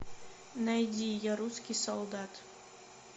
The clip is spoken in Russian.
найди я русский солдат